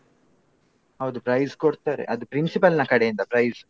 ಹೌದು price ಕೊಡ್ತಾರೆ ಅದು principal ನ ಕಡೆಯಿಂದ price .